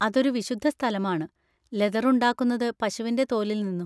അതൊരു വിശുദ്ധ സ്ഥലമാണ്, ലെതർ ഉണ്ടാക്കുന്നത് പശുവിൻ്റെ തോലിൽ നിന്നും.